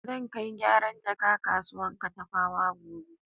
Zan kai gyaran jaka kasuwan Katafawa gobe.